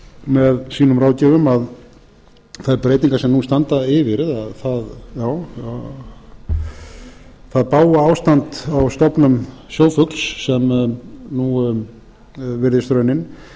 með sínum ráðgjöfum að þær breytingar sem nú standa yfir það bága ástand á stofnum sjófugls sem nú virðist raunin